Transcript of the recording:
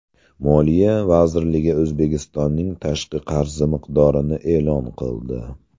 Moliya vazirligi O‘zbekistonning tashqi qarzi miqdorini e’lon qildi.